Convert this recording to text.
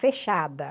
Fechada.